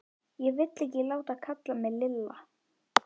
Ég vil ekki láta kalla mig Lilla!